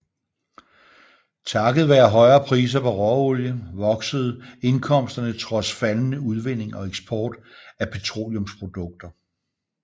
Takket være højere priser på råolie voksede indkomsterne trods faldende udvinding og eksport af petroleumsprodukter